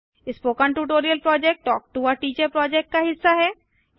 spoken tutorial project talk to a teacher project का हिस्सा है